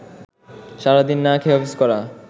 সারাদিন না খেয়ে অফিস করা